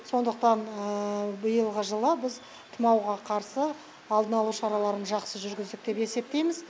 сондықтан биылғы жылы біз тумауға қарсы алдын алу шараларын жақсы жүргіздік деп есептейміз